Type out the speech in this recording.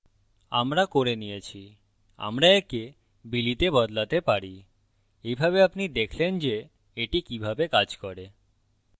আমরা করে নিয়েছি আমরা একে billy তে বদলাতে there এইভাবে আপনি দেখলেন যে এটি কিভাবে কাজ করে